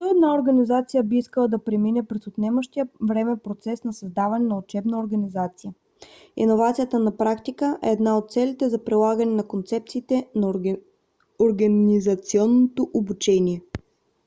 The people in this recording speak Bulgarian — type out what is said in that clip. защо една организация би искала да премине през отнемащия време процес на създаване на учебна организация? иновацията на практика е една от целите за прилагане на концепциите за организационно обучение